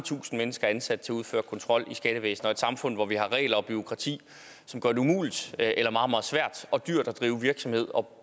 tusind mennesker ansat til at udføre kontrol i skattevæsenet og et samfund hvor vi har regler og bureaukrati som gør det umuligt eller meget meget svært og dyrt at drive virksomhed og